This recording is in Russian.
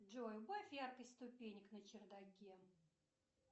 джой убавь яркость ступенек на чердаке